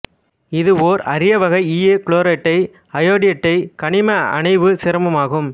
இதுவோர் அரியவகை ஈய chlorate iodate கனிம அணைவுச் சேர்மமாகும்